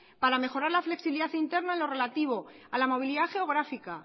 para mejorar la flexibilidad interna en lo relativo a la movilidad geográfica